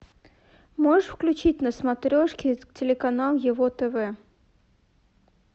можешь включить на смотрешке телеканал его тв